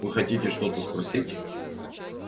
вы хотите что-то спросить